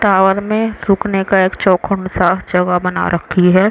Tower में रुकने का एक चौखूंट सा चौवा बना रखी है।